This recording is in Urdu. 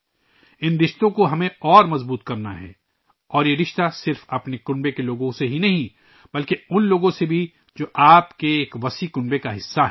ان رشتوں کو ہمیں اور مضبوط کرنا ہے اور یہ رشتہ صرف اپنے خاندان کے لوگوں سے ہی نہیں بلکہ ان لوگوں سے بھی ہے ، جو آپ کے بڑے خاندان کا حصہ ہیں